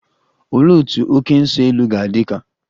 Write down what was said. Olee otú oké nso-elu ga-adị ka?